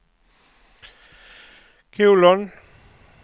kolon